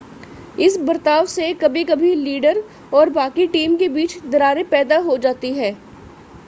इस बर्ताव से कभी-कभी लीडर और बाकी टीम के बीच दरारें पैदा हो जाती हैं